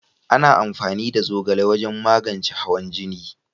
Ana amfani da zogale wajen magance hawan jini